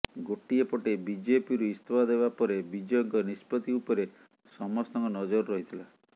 ଗୋଟିଏ ପଟେ ବିଜେପିରୁ ଇସ୍ତଫା ଦେବା ପରେ ବିଜୟଙ୍କ ନିଷ୍ପତ୍ତି ଉପରେ ସମସଙ୍କ ନଜର ରହିଥିଲା